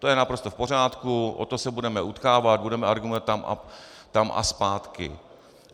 To je naprosto v pořádku, o to se budeme utkávat, budeme argumentovat tam a zpátky.